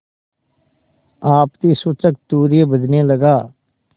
आपत्तिसूचक तूर्य बजने लगा